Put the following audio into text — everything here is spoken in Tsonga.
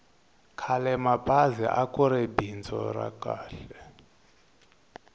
khalemabazi akuri bindzu ra kahl